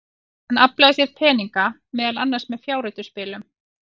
Hann aflaði sér peninga, meðal annars með fjárhættuspilum.